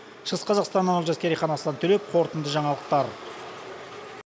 шығыс қазақстаннан олжас керейхан аслан төлепов қорытынды жаңалықтар